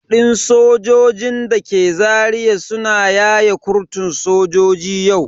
Depot din sojojin dake Zaria suna yaye kurtun sojoji yau.